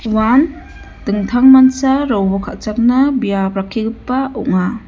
uan dingtangmancha robol kal·chakna biap rakkigipa ong·a.